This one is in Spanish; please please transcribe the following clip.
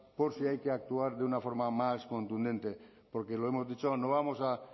por si hay que actuar de una forma más contundente porque lo hemos dicho no vamos a